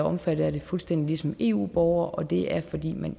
omfattet af det fuldstændig ligesom eu borgere og det er fordi man